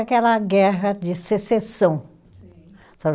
Aquela guerra de secessão. Sim